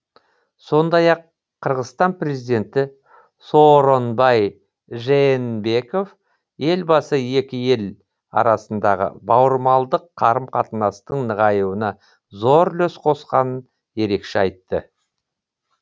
сондай ақ қырғызстан президенті сооронбай жээнбеков елбасы екі ел арасындағы бауырмалдық қарым қатынастың нығаюына зор үлес қосқанын ерекше айтты